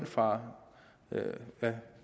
fra